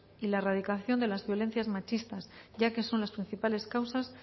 y la erradicación de las violencias machistas ya que son las principales causas